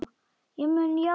Ég mun játa allt.